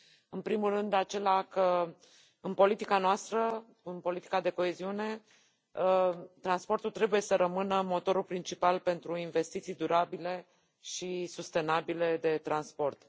În primul rând acela că în politica noastră, în politica de coeziune, transportul trebuie să rămână motorul principal pentru investiții durabile și sustenabile în transport.